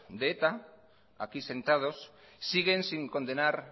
de eta aquí sentados siguen sin condenar